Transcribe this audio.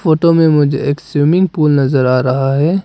Photo में मुझे एक स्विमिंग पूल नजर आ रहा है।